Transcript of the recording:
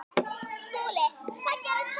SKÚLI: Hvað gerðist næst?